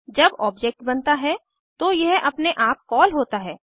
जब ऑब्जेक्ट बनता है तो यह अपने आप कॉल होता है